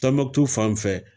Tɔnbɔktu fanfɛ